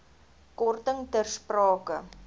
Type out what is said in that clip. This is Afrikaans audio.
korting ter sprake